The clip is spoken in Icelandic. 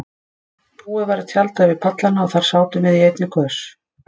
Búið var að tjalda yfir pallana og þar sátum við í einni kös.